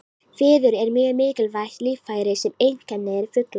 Fiður er mjög mikilvægt líffæri sem einkennir fugla.